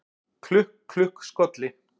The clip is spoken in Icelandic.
Klukk, klukk, skolli